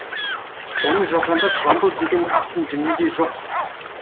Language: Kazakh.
оны жазғандар жамбыл деген ақын дүниеде жоқ